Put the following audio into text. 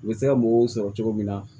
U bɛ se ka mɔgɔw sɔrɔ cogo min na